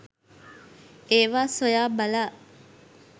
ඒවා සොයා බලා